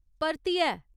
परतियै ?